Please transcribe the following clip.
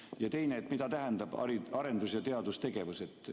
Ja teine: mida tähendab arendus- ja teadustegevus?